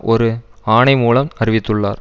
ஒரு ஆணை மூலம் அறிவித்துள்ளார்